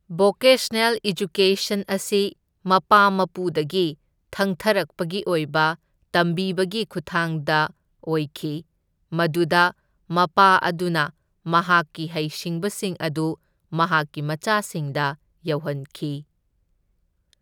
Vocational education ꯑꯁꯤ ꯃꯄꯥ ꯃꯄꯨꯗꯒꯤ ꯊꯪꯊꯔꯛꯄꯒꯤ ꯑꯣꯏꯕ ꯇꯝꯕꯤꯕꯒꯤ ꯈꯨꯠꯊꯥꯡꯗ ꯑꯣꯏꯈꯤ, ꯃꯗꯨꯗ ꯃꯄꯥ ꯑꯗꯨꯅ ꯃꯍꯥꯛꯀꯤ ꯍꯩꯁꯤꯡꯕꯁꯤꯡ ꯑꯗꯨ ꯃꯍꯥꯛꯀꯤ ꯃꯆꯥꯁꯤꯡꯗ ꯌꯧꯍꯟꯈꯤ꯫